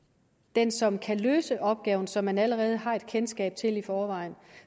den som kan løse opgaven og som man allerede har et kendskab til i forvejen